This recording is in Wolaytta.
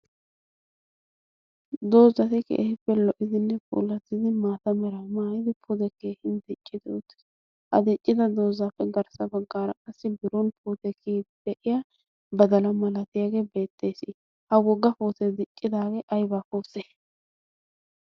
Doozati keehiippe lo"idinne polazidi maata mera maayidi podekkee hind diiccidootiis a diccida doozaappe garssa baggaara qassi biron potekii de'iya badala malatiyaagee beettees ha wogga poosee diccidaagee ayba puute?